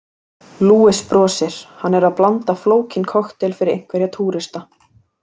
Luis brosir, hann er að blanda flókinn kokteil fyrir einhverja túrista.